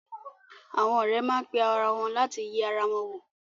Àwọn ọ̀rẹ́ má pe ara wọn láti yẹ ara wọn wò.